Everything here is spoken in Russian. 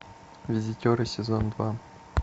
визитеры сезон два